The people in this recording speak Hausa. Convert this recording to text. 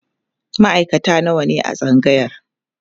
maaikata nawa ne a tsangayar?